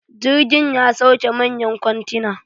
jirgin ya sauke manyan kwantina